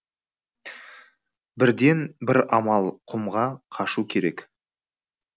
бірден бір амал құмға қашу керек